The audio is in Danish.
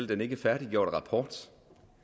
den ikke færdiggjorte rapport